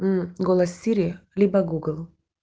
мм голос сири либо гугл